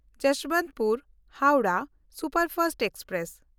ᱡᱚᱥᱵᱚᱱᱛᱯᱩᱨ–ᱦᱟᱣᱲᱟᱦ superfast express